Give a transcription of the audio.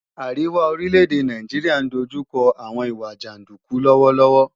Àríwá orílẹ̀-èdè Nàìjíríà ń dojú kọ àwọn ìwà jàndúkú lọ́wọ́lọ́wọ́